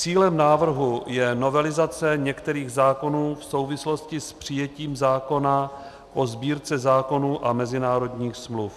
Cílem návrhu je novelizace některých zákonů v souvislosti s přijetím zákona o Sbírce zákonů a mezinárodních smluv.